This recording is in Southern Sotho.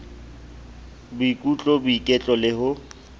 boikutlo boiketlo le ho o